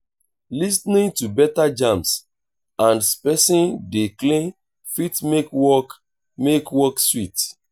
lis ten ing to better jams as person dey clean fit make work make work sweet